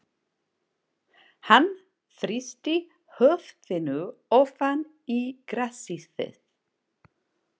Hann þrýsti höfðinu ofan í grasið.